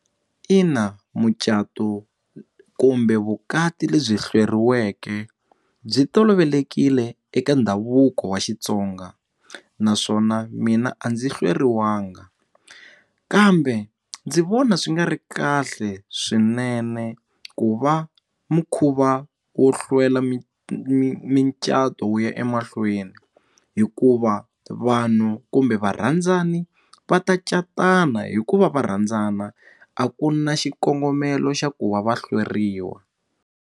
Ina, mucato kumbe vukati lebyi hleriweke byi tolovelekile eka ndhavuko wa Xitsonga naswona mina a ndzi hleriwangi kambe ndzi vona swi nga ri kahle swinene ku va mukhuva wo hlwela mi mi mi micato ya emahlweni hikuva vanhu kumbe varandzani va ta catana hikuva va rhandzana a ku na xikongomelo xa ku va va hlweriwa.